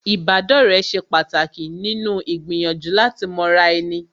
Ìbádọ́rẹ̀ẹ́ ṣe pàtàkì nínú gbìyànjú láti mọra ẹni